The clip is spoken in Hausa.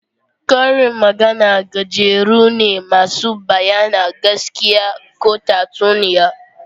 Karin magana gajeru ne masu bayyana gaskiya ko tatsuniya